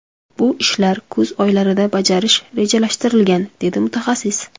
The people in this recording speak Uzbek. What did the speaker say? Bu ishlar kuz oylarida bajarish rejalashtirilgan”, – dedi mutaxassis.